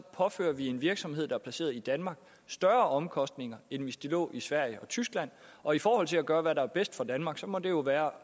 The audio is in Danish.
påfører en virksomhed der er placeret i danmark større omkostninger end hvis den lå i sverige eller tyskland og i forhold til at gøre hvad der er bedst for danmark så må det jo være